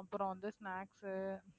அப்புறம் வந்து snacks உ